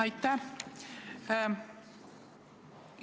Aitäh!